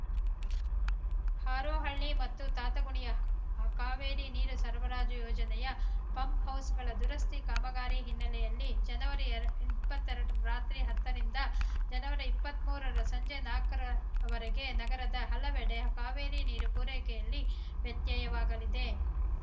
ಹಾರೋಹಳ್ಳಿ ಮತ್ತು ತಾತಗುಣಿಯ ಕಾವೇರಿ ನೀರು ಸರಬರಾಜು ಯೋಜನೆಯ ಪಂಪ್‌ಹೌಸ್‌ಗಳ ದುರಸ್ತಿ ಕಾಮಗಾರಿ ಹಿನ್ನೆಲೆಯಲ್ಲಿ ಜನವರಿ ಇಪ್ಪತ್ತೆರಡರ ರಾತ್ರಿ ಹತ್ತರಿಂದ ಜನವರಿ ಇಪ್ಪತ್ಮೂರರ ಸಂಜೆ ನಾಲ್ಕರವರೆಗೆ ನಗರದ ಹಲವೆಡೆ ಕಾವೇರಿ ನೀರು ಪೂರೈಕೆಯಲ್ಲಿ ವ್ಯತ್ಯಯವಾಗಲಿದೆ